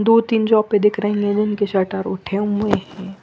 दो तीन जो पर दिख रहे है उनके शटर उठे हुए है।